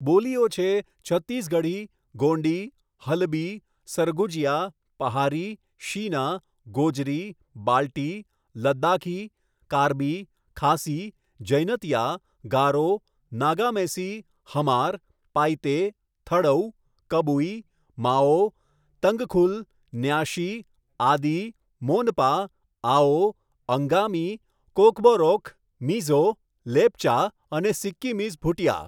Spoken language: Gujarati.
બોલીઓ છે છત્તીસગઢી, ગોંડી, હલબી, સરગુજિયા, પહારી, શીના, ગોજરી, બાલ્ટી, લદાખી, કાર્બી, ખાસી, જૈનતિયા, ગારો, નાગામેસી, હમાર, પાઈતે, થડૌ, કબુઈ, માઓ, તંગખુલ, ન્યાશી, આદિ, મોનપા, આઓ, અંગામી, કોકબોરોક, મિઝો, લેપ્ચા અને સિક્કિમીઝ ભુટિયા.